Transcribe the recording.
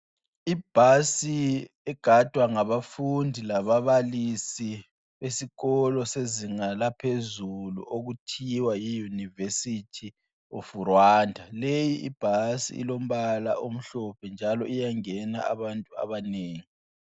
Ibhasi egadwa ngabafundi lababalisi esikolo sezinga laphezulu okuthiwa yiUniversity of Rwanda. Leyi ibhasi ilombala omhlophe njalo iyangena abantu abanengi.